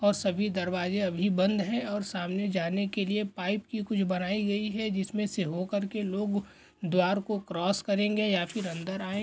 और सभी दरवाजे अभी बंद हैं और सामने जाने के लिए पाइप की कुछ बनाई गई हैं जिसमे से होकर के लोग द्वार को क्रॉस करेंगे या फिर अंदर आयें--